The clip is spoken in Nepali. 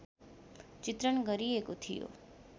चित्रण गरिएको थियो